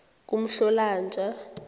kumhlolonja